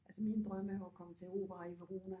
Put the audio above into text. Altså min drøm er jo at komme til Opera i Verona